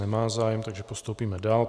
Nemá zájem, takže postoupíme dál.